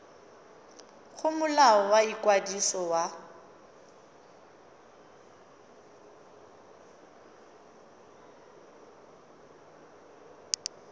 go molao wa ikwadiso wa